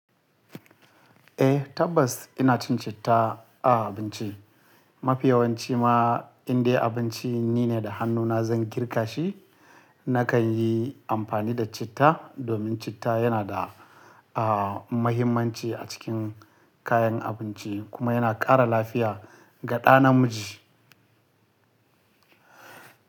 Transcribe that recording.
Eh tabbas ina cin citta a abinci. Mafiyawanci ma in dai abinci nine da hannuna zan girka shi, nakan yi amfani da citta domin citta yana da, aa, mahimmanci a cikin kayan abinci kuma yana ƙara lafiya ga ɗa namiji.